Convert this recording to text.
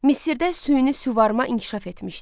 Misirdə süni suvarma inkişaf etmişdi.